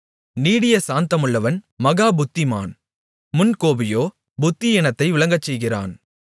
நீடிய சாந்தமுள்ளவன் மகாபுத்திமான் முன்கோபியோ புத்தியீனத்தை விளங்கச்செய்கிறான்